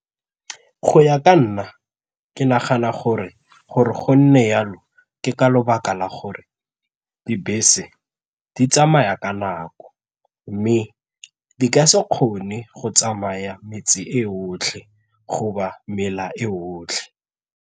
Go ya ka nna, ke nagana gore gore go nne jalo ke ka lebaka la gore dibese di tsamaya ka nako mme di ka se kgone go tsamaya metse e otlhe go ba mela e otlhe.